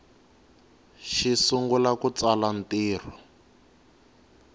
si sungula ku tsala ntirho